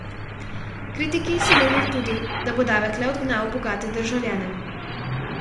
Kritiki so menili tudi, da bo davek le odgnal bogate državljane.